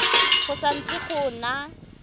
go sa ntse go na